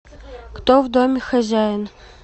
кто в доме хозяин